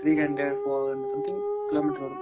Three hundred , four hundred kilometer வரும்.